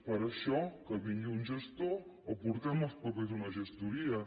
per a això que vingui un gestor o portem els papers a una gestoria